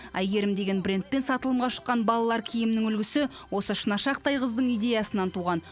әйгерім деген брендпен сатылымға шыққан балалар киімінің үлгісі осы шынашақтай қыздың идеясынан туған